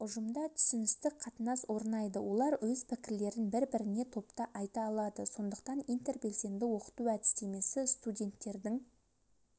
ұжымда түсіністік қатынас орнайды олар өз пікірлерін бір-біріне топта айта алады сондықтан интербелсенді оқыту әдістемесі студенттердің